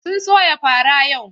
Sun soya fara yau.